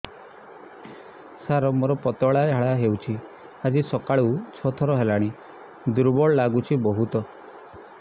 ସାର ମୋର ପତଳା ଝାଡା ହେଉଛି ଆଜି ସକାଳୁ ଛଅ ଥର ହେଲାଣି ଦୁର୍ବଳ ଲାଗୁଚି ବହୁତ